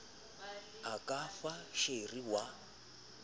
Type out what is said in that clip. o ka fa sheri wa